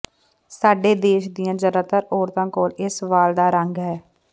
ਸਾਡੇ ਦੇਸ਼ ਦੀਆਂ ਜ਼ਿਆਦਾਤਰ ਔਰਤਾਂ ਕੋਲ ਇਸ ਵਾਲ ਦਾ ਰੰਗ ਹੈ